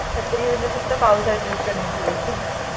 छत्री म्हणजे फक्त पावसाड्यात यूज करण्याची गोष्ट आहे